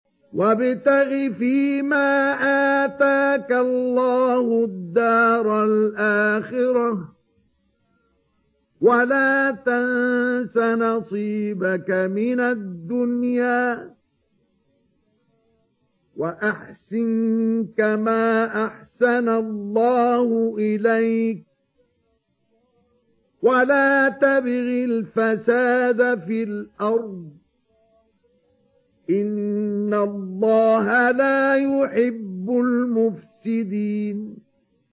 وَابْتَغِ فِيمَا آتَاكَ اللَّهُ الدَّارَ الْآخِرَةَ ۖ وَلَا تَنسَ نَصِيبَكَ مِنَ الدُّنْيَا ۖ وَأَحْسِن كَمَا أَحْسَنَ اللَّهُ إِلَيْكَ ۖ وَلَا تَبْغِ الْفَسَادَ فِي الْأَرْضِ ۖ إِنَّ اللَّهَ لَا يُحِبُّ الْمُفْسِدِينَ